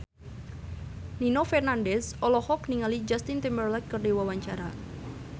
Nino Fernandez olohok ningali Justin Timberlake keur diwawancara